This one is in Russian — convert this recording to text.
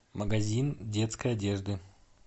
магазин детской одежды